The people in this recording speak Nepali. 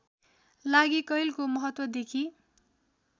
लागि कैलको महत्त्वदेखि